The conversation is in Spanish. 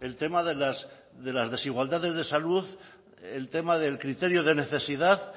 el tema de las desigualdades de salud el tema del criterio de necesidad